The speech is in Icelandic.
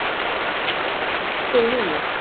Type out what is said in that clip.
Jóhanna: En veðrið núna?